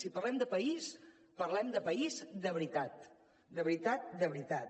si parlem de país parlem de país de veritat de veritat de veritat